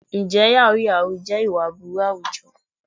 Ǹjẹ́ yàhú yàhú jẹ́ ìwà aburú àwùjọ?